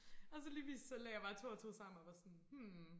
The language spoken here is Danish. Og så lige lagde jeg 2 og 2 sammen og var sådan hm